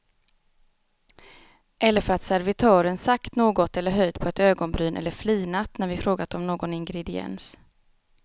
Eller för att servitören sagt något eller höjt på ett ögonbryn eller flinat när vi frågat om någon ingrediens.